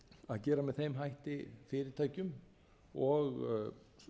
að gera með þeim hætti fyrirtækjum og